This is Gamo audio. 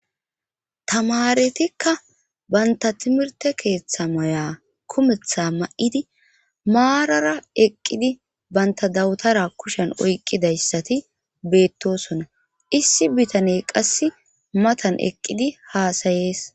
tamaretikka banta timirte keeththa maya kumetha ma7idi maarara eqqidi banta dawutara kushen oyqqidayssati beettosona issi bitaney qasse matan eqqidi haasayees